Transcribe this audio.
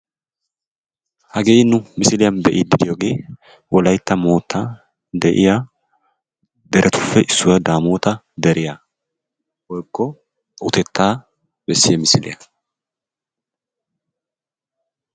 Hagee nu misiliyan be'iiddi diyogee. wolaytta moottan de'iya deretuppe issuwa, Daamoota deriya woykko utettaa bessiya misiliya.